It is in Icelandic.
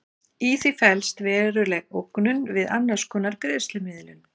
Í því felst veruleg ógnun við annars konar greiðslumiðlun.